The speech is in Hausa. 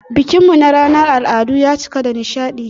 Bikin mu na ranar al'adu ya cika da nishadi.